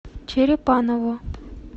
черепаново